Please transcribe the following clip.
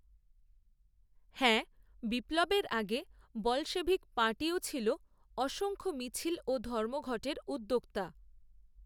হ্যাঁ, বিপ্লবের আগে বলশেভিক পার্টিও ছিল, অসংখ্য মিছিল, ও ধর্মঘটের উদ্যোক্তা